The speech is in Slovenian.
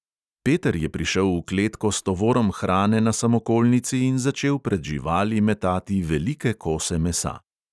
Peter je prišel v kletko s tovorom hrane na samokolnici in začel pred živali metati velike kose mesa.